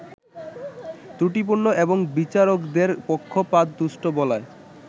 ত্রুটিপূর্ণ এবং বিচারকদের পক্ষপাতদুষ্ট বলায়